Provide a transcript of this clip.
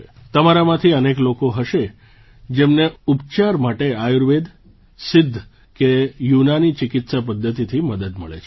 તમારામાંથી અનેક લોકો હશે જેમને ઉપચાર માટે આયુર્વેદ સિદ્ધ કે યુનાની ચિકિત્સા પદ્ધતિથી મદદ મળે છે